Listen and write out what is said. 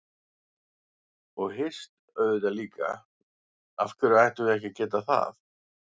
Og hist auðvitað líka, af hverju ættum við ekki að geta það?